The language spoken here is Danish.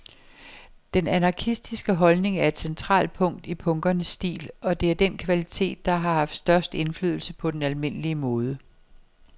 Den anarkistiske holdning er et centralt punkt i punkernes stil, og det er den kvalitet, der har haft størst indflydelse på den almindelige mode.